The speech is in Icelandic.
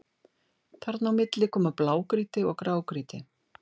Þarna á milli koma blágrýti og grágrýti.